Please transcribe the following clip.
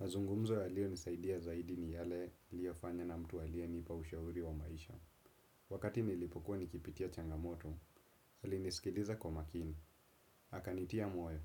Mazungumzo yaliyo nisaidia zaidi ni yale niliyofanya na mtu aliyenipa ushauri wa maisha. Wakati nilipokuwa nikipitia changamoto, alinisikiza kwa makini akanitia moyo